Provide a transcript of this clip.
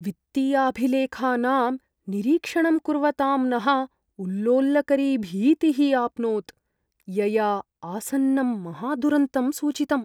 वित्तीयाभिलेखानां निरीक्षणं कुर्वतां नः उल्लोलकरी भीतिः आप्नोत्, यया आसन्नं महादुरन्तं सूचितम्।